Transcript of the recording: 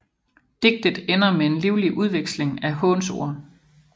Digtet ender med en livlig udveksling af hånsord